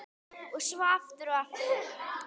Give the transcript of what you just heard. Og svo aftur og aftur.